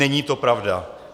Není to pravda.